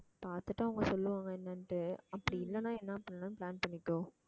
பாத்துட்டு அவங்க சொல்லுவாங்க என்னனுன்ட்டு அப்படி இல்லன்னா என்ன பண்ணலாம்னு plan பண்ணிக்கோ